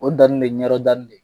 Moritani bɛ Yen, Ɲɔrɔ ta bɛ yen.